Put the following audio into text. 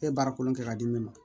E ye baarakolo kɛ k'a di ne ma